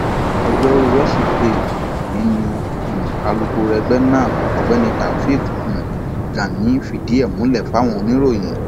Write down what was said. ọjọrùú wíṣọdẹ yìí ni um alūkkoro ẹgbẹ náà ọgbẹni taofik um gani fìdí ẹ múlẹ fáwọn oníròyìn